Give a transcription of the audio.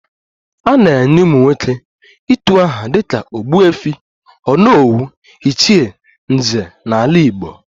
A na-enye ụmụnwoke utu aha dịka ogbuefi, onowu, ichie, nze n'ala Igbo